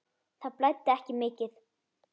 Það blæddi ekki mikið.